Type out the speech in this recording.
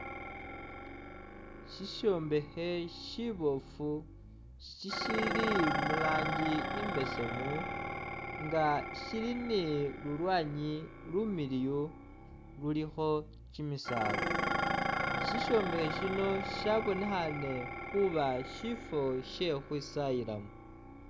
Sisyombekhe siboofu shishili mu rangi imbesemu nga shili ni lulwanyi lumiliyu lulikho kimisaala, sisyombekhe sino shabonekhaane khuba syifwo sye khukhwisayilamo